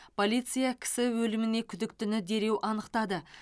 полиция кісі өліміне күдіктіні дереу анықтады